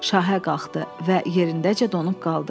Şahə qalxdı və yerindəcə donub qaldı.